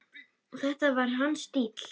Þetta var hans stíll!